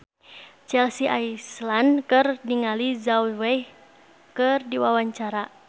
Chelsea Islan olohok ningali Zhao Wei keur diwawancara